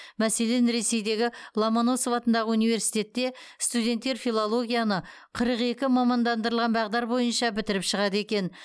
мәселен ресейдегі ломоносов атындағы университетте студенттер филологияны қырық екі мамандандырылған бағдар бойынша бітіріп шығады екен